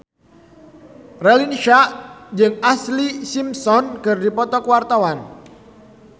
Raline Shah jeung Ashlee Simpson keur dipoto ku wartawan